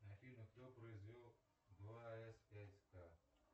афина кто произвел два эс пять ка